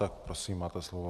Tak prosím, máte slovo.